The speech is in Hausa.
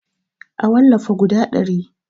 A wallafa guda ɗari